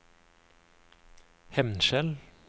Hemnskjel